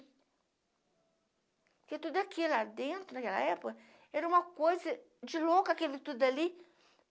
Porque tudo aqui lá dentro, naquela época, era uma coisa de louco, aquilo tudo ali.